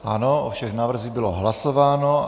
Ano, o všem návrzích bylo hlasováno.